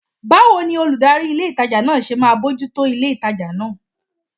Báwo ni olùdarí ilé ìtajà náà ṣe máa bójú tó ilé ìtajà náà?